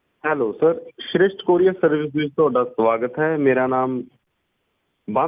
Hellosir Srisht courierservice ਵਿਚ ਤੁਹਾਡਾ ਸਵਾਗਤ ਹੈ ਮੇਰਾ ਨਾਮ ਬੰਤ ਹੈ ਮੈਂ ਕਿਸ ਪ੍ਰਕਾਰ ਤੁਹਾਡੀ ਸਹਾਇਤਾ ਕਰ ਸਕਦਾ ਆ